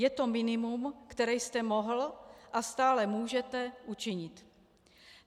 Je to minimum, které jste mohl a stále můžete učinit.